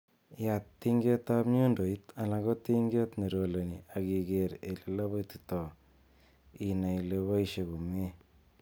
Yaat tingetab nyundoit alan ko tinget neroleni ak igeer ele lobotito inai ele boishie komie.